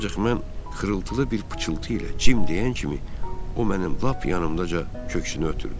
Ancaq mən xırıltılı bir pıçıltı ilə Cim deyən kimi o mənim lap yanımdaca köksünü ötürdü.